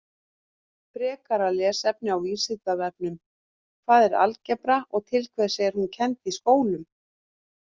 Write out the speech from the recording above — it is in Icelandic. Frekara lesefni á Vísindavefnum: Hvað er algebra og til hvers er hún kennd í skólum?